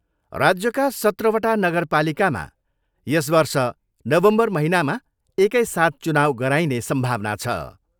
राज्यका सत्रवटा नगरपालिकामा यस वर्ष नवम्बर महिनामा एकै साथ चुनाउ गराइने सम्भावना छ।